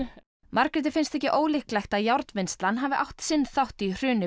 Margréti finnst ekki ólíklegt að járnvinnslan hafi átt sinn þátt í hruni